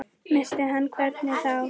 Missa hana, hvernig þá?